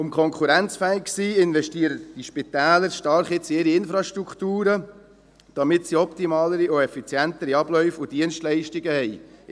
Um konkurrenzfähig zu sein, investieren die Spitäler jetzt stark in ihre Infrastrukturen, damit sie optimalere und effizientere Abläufe und Dienstleistungen haben.